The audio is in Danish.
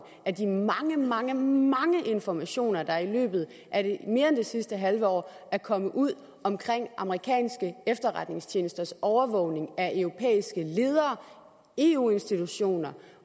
af de mange mange mange informationer der i løbet af mere end det sidste halve år er kommet ud om amerikanske efterretningstjenesters overvågning af europæiske ledere eu institutioner